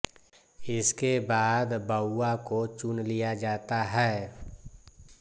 इसके बाद बौआ को चुन लिया जाता है